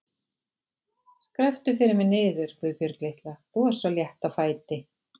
Skrepptu fyrir mig niður, Guðbjörg litla, þú ert svo létt á fæti.